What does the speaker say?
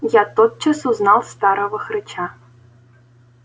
я тотчас узнал старого хрыча